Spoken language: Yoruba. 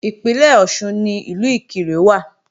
Ìpínlẹ̀ Ọ̀ṣun ni Ìlú Ìkirè wà